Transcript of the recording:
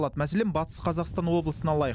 мәселен батыс қазақстан облысын алайық